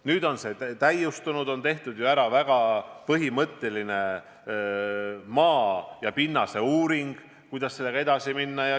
Nüüd on see täiustunud, ära on tehtud ju väga põhimõtteline maa ja pinnase uuring, et kuidas sellega edasi minna.